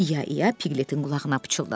İa ia Pikletin qulağına pıçıldadı.